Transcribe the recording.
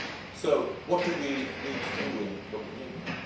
So, what do we need to do in Copenhagen?